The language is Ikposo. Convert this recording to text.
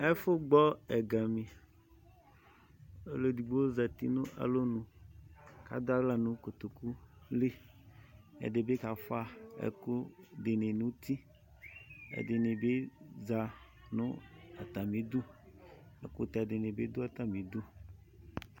ɛƒʋgbɔ ɛgami ɔlʋɛdigbo zati nʋ alɔnʋ kʋ adʋ aɣla nʋ kotokʋli ɛdibi kaƒʋa ɛkʋ dini nʋ ʋti ɛdinibi za nʋ atamidʋ ɛkʋtɛdinibi dʋ atamidʋ